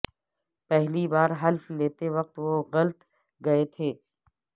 پہلی بار حلف لیتے وقت وہ غلط گئے تھے